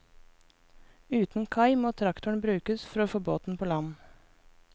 Uten kai, må traktoren brukes for å få båten på land.